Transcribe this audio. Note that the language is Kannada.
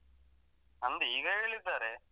ನಂದು ಈಗ ಹೇಳಿದ್ದಾರೆ.